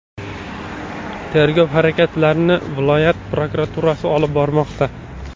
Tergov harakatlarini viloyat prokuraturasi olib bormoqda.